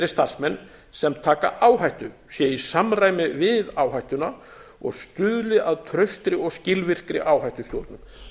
starfsmenn sem taka áhættu sé í samræmi við áhættuna og stuðli að traustri og skilvirkri áhættustjórnun með